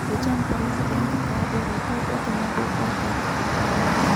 ill`champai le nkitoduaroto otenebo irr`dat kutitik.